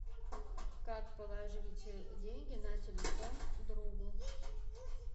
как положить деньги на телефон другу